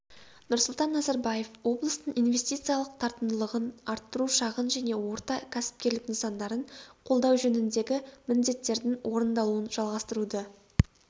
нұрсұлтан назарбаев облыстың инвестициялық тартымдылығын арттыру шағын және орта кәсіпкерлік нысандарын қолдау жөніндегі міндеттердің орындалуын жалғастыруды